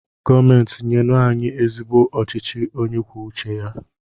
Gọọmenti nyenu anyị ezigbo ọchịchị onye kwuo uche ya!